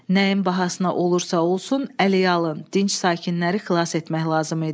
Nəyin bahasına olursa-olsun əhalinin dinc sakinləri xilas etmək lazım idi.